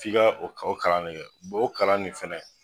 F'i ga o ka o kalan ne kɛ bɔ kalan nin fɛnɛ